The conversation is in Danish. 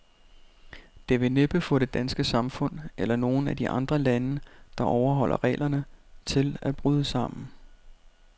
Det vil næppe få det danske samfund, eller nogen af de andre lande, der overholder reglerne, til at bryde sammen.